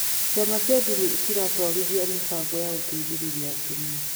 Ciama cia ndini ciratwarithia mĩbango ya gũteithĩrĩria atumia